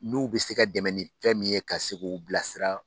N'u bɛ se ka dɛmɛ nin fɛn min ye ka se k'u bila sira.